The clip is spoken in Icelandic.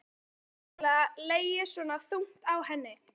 Hafði þetta virkilega legið svona þungt á henni?